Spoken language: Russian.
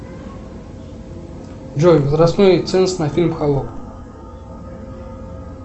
джой возрастной ценз на фильм холоп